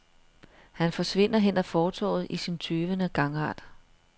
Han forsvinder hen ad fortovet i sin tøvende gangart.